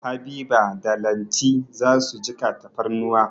Habiba da Lanti za su jiƙa tafarnuwa.